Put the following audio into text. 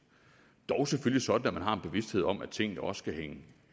dog selvfølgelig sådan at man har en bevidsthed om at tingene også skal hænge